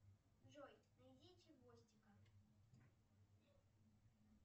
джой найди чевостика